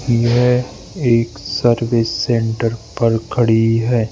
ये एक service centre खड़ी है।